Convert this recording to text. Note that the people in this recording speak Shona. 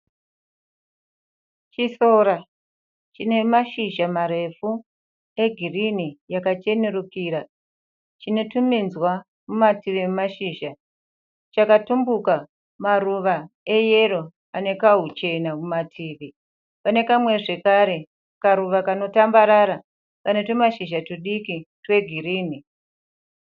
Chisora chine mashizha marefu egirini yakachenerukira chine tuminzwa mumativi emashizha chakatumbuka maruva eyero ane kahuchena mumativi pane kamwe zvekare karuva kanotambarara kane tumashizha tudiki twegirini.